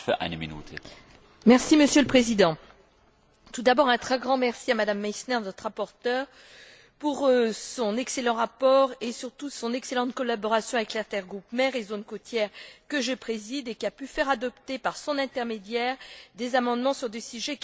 Monsieur le Président, tout d'abord un très grand merci à Mme Meissner, notre rapporteure, pour son excellent rapport et surtout son excellente collaboration avec l'intergroupe Mers et zones côtières que je préside et qui a pu faire adopter par son intermédiaire des amendements sur des sujets qui étaient chers à ses membres.